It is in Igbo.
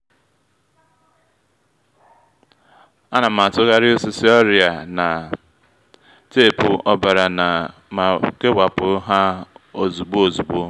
a na m atụgharị osisi ọrịa na teepu ọbara ma kewapụ ha ozugbo ozugbo